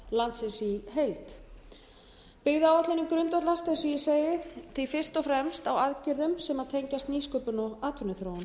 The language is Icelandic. landsins í heild byggðaáætlunin grundvallast að því ég segi fyrst og fremst á aðgerðum sem tengjast nýsköpun og atvinnuþróun